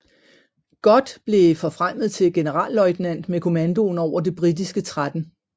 Gott blev forfremmet til generalløjtnant med kommandoen over det britiske 13